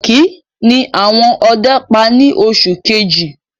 Ìnàkì ni àwọn ọdẹ pa ni oṣù kejì